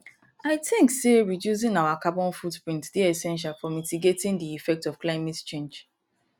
i think say reducing our carbon footprint dey essential for mitigating di effects of climate change